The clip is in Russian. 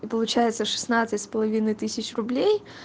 и получается шестнадцать с половиной тысяч рублей